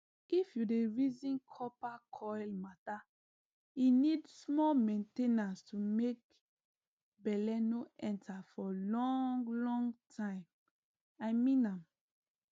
if u dey reason copper coil mattere need small main ten ance to make belle no enter for long long timei mean am